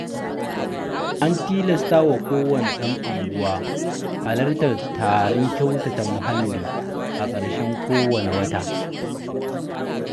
An tilastawa kowanne ɗan unguwa halartar taron kyautata muhalli a ƙarshen kowane wata.